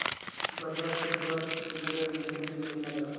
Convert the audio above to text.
Bajaj Finserv limited गुंतवणूक योजना दाखव